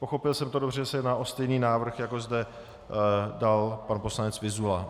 Pochopil jsem to dobře, že se jedná o stejný návrh, jako zde dal pan poslanec Vyzula?